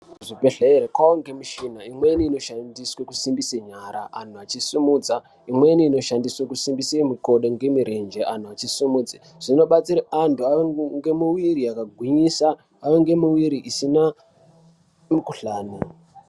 Kuzvibhedhlere kwaange mishina imweni inoshandiswa kusimbise nyara anhu achisimudza imweni inoshandiswe kusimbise mikodo ngemirenje anhu achisimudza zvinobatsira anthu ave ngemuviri yakagwinyisa ave ngemuviri isina mikuhlani.